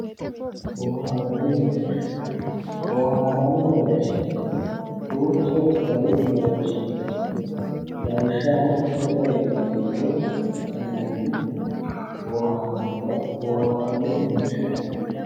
Booharani mereersha booharani mereershi duuchu gari boharani mereershi no lawishaho mitore intani woyi anhani booharani booharshati